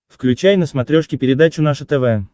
включай на смотрешке передачу наше тв